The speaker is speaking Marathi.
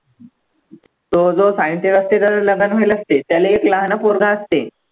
तो जो scientist असते त्याचं लग्न केलं असते त्याले एक लहानं पोरगं असते.